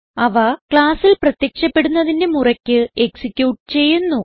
അവ classൽ പ്രത്യക്ഷപ്പെടുന്നതിന്റെ മുറയ്ക്ക് എക്സിക്യൂട്ട് ചെയ്യുന്നു